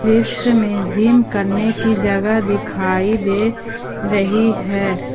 दृश्य में जिम करने की जगह दिखाई दे रही है।